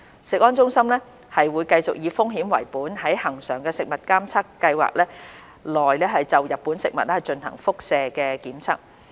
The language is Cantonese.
食安中心會繼續以風險為本在恆常食物監測計劃內就日本食品進行輻射檢測。